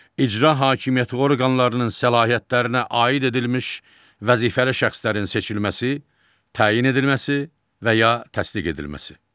İcra hakimiyyəti orqanlarının səlahiyyətlərinə aid edilmiş vəzifəli şəxslərin seçilməsi, təyin edilməsi və ya təsdiq edilməsi.